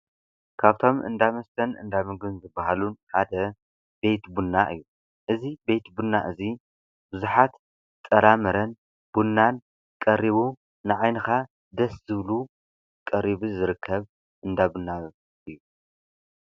ካብቶም እንዳ መስተን እንዳ ምግቢን ዝበሃሉ ሓደ ቤት ቡና እዩ፡፡ እዚ ቤት ቡና እዚ ቡዙሓት ጥራምረን ቡናን ቀሪቡ ንዓይንካ ደስ ዝብሉ ቀሪቡ ዝርከብ እንዳ ቡና እዩ፡፡